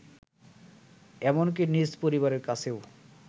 এমনকি নিজ পরিবারের কাছেও